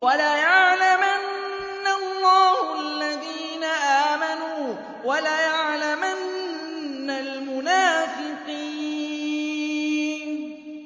وَلَيَعْلَمَنَّ اللَّهُ الَّذِينَ آمَنُوا وَلَيَعْلَمَنَّ الْمُنَافِقِينَ